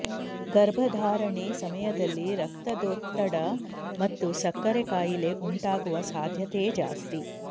ಗರ್ಭಧಾರಣೆ ಸಮಯದಲ್ಲಿ ರಕ್ತದೊತ್ತಡ ಮತ್ತು ಸಕ್ಕರೆ ಕಾಯಿಲೆ ಉಂಟಾಗುವ ಸಾಧ್ಯತೆ ಜಾಸ್ತಿ